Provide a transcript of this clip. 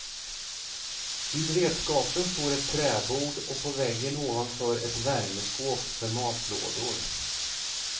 Vid redskapen står ett träbord och på väggen ovanför ett värmeskåp för matlådor.